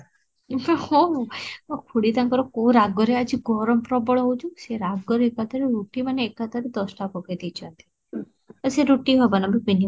ମୋ ଖୁଡି ତାଙ୍କର କୋଉ ରାଗରେ ଆଜି ଗରମ ପ୍ରବଳ ହୋଉଛି, ସେ ରାଗରେ ରୁଟି ମାନେ ଏକାଥରେ ଦଶଟା ପକେଇ ଦେଇଛନ୍ତି, ସେ ରୁଟି ହବ ନା